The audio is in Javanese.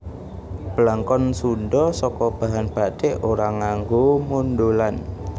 Blangkon Sundha saka bahan bathik ora nganggo mondholan